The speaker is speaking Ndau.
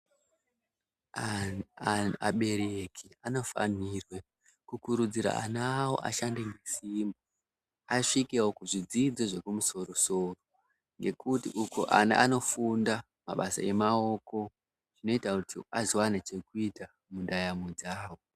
Aberekeki anofanirwe kukurudzira ana awo ashande nesimba asvikewo kuzvidzidzo zvekumusoro-soro ngekuti uko ana anofunda mabasa emaoko zvinoita kuti azowana chekuita mundaramo dzawo.